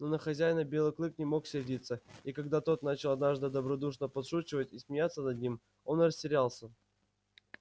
но на хозяина белый клык не мог сердиться и когда тот начал однажды добродушно подшучивать и смеяться над ним он растерялся